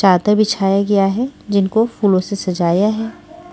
चादर बिछाया गया है जिनको फूलों से सजाया है।